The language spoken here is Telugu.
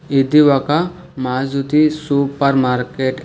ఇది ఒక మారుతి సూపర్ మార్కెట్